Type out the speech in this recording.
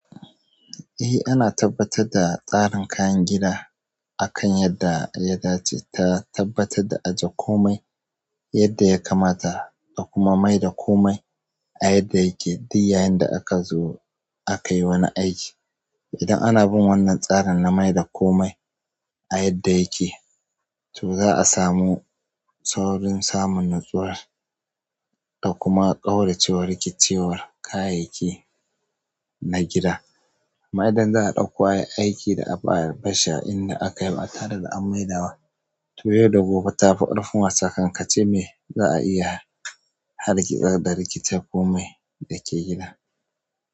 Eh ana tabbatar da tsarin kayan gida akan yadda yaɗa ce ta tabbatar da aje komai yadda ya kamata da kuma mai da komai a yadda yake duk yayin da aka zo akai wani aiki. Idan ana bin wannan tsarin na mai da komai a yadda yake, to za a samu saurin samun nutsuwar da kuma ƙaurace wa rikicewar kayayyaki na gida. Amma idan za a ɗakko ai aiki da abu a bashi inda aka yaba tare da an mai da wa, to yau da gobe ta fi ƙarfin wasa, kankance me za a iya hargitsa da rikitar komai da ke gida.